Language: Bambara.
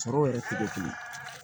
Sɔrɔ yɛrɛ te kɛ kelen ye